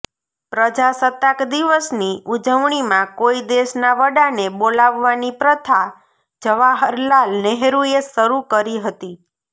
પ્રજાસત્તાક દિવસની ઉજવણીમાં કોઈ દેશના વડાને બોલાવવાની પ્રથા જવાહરલાલ નેહરુએ શરૂ કરી હતી